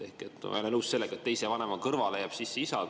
Olen väga nõus sellega, et teise vanema kõrval jääb sisse isa mõiste.